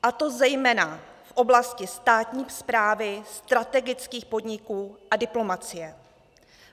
A to zejména v oblasti státní správy, strategických podniků a diplomacie.